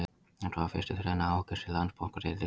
Þetta var fyrsti þrenna Ásgeirs í Landsbankadeildinni.